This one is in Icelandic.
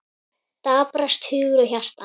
Daprast hugur og hjarta.